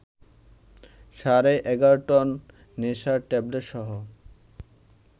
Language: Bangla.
সাড়ে ১১ টন নেশার ট্যাবলেটসহ